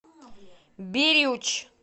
бирюч